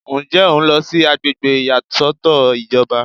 Ǹjẹ́ o ń lọ sí àgbègbè ìyàsọ́tọ̀ ìjọba?